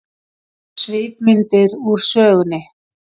Svipmyndir úr sögunni